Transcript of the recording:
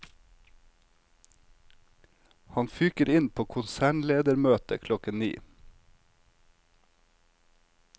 Han fyker inn på konsernledermøtet klokken ni.